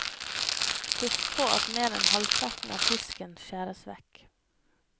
Husk på at mer enn halvparten av fisken skjæres vekk.